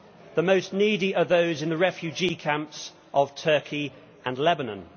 The most needy are those in the refugee camps of Turkey and Lebanon.